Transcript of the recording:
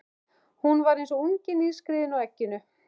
Hún var eins og ungi nýskriðinn úr egginu.